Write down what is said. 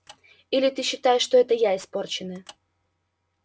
или ты считаешь что это я испорченная